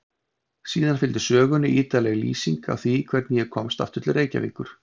Síðan fylgdi sögunni ítarleg lýsing á því hvernig ég komst aftur til Reykjavíkur.